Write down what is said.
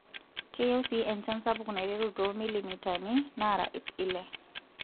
Keyieu sii enchan sapuk naiteru too milimitani naara ip ile.